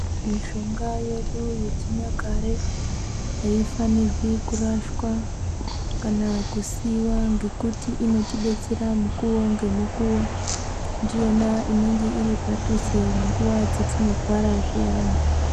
Mishonga yedu yechinyakare aifanirwi kurashwa kana kusiiwa ngekuti inotibetsera mukuwo ngemukuwo. Ndiyona inenge iri padhuze munguva dzetinorwara zviyani